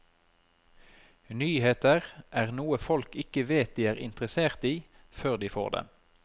Nyheter er noe folk ikke vet de er interessert i før de får dem.